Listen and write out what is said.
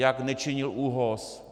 Jak nečinil ÚOHS?